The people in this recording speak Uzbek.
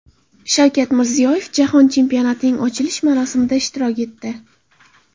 Shavkat Mirziyoyev Jahon Chempionatining ochilish marosimida ishtirok etdi.